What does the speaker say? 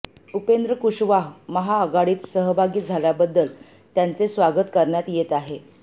उपेंद्र कुशवाह महाआघाडीत सहभागी झाल्याबद्दल त्यांचे स्वागत करण्यात येत आहे